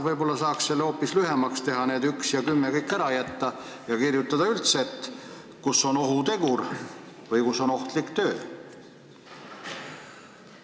Võib-olla saaks hoopis lühemalt teha, kõik need 10 punkti ära jätta ja kirjutada lihtsalt "kus on ohutegur" või "kus on ohtlik töö"?